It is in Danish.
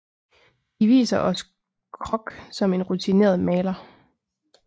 De viser os Krock som en rutineret maler